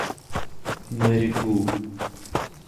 мэри гу